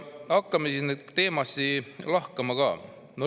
Hakkame neid siis lahkama.